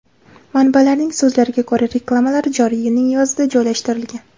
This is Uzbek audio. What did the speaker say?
Manbalarning so‘zlariga ko‘ra, reklamalar joriy yilning yozida joylashtirilgan.